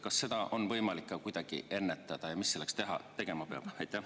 Kas seda on võimalik ka kuidagi ennetada ja mis selleks tegema peab?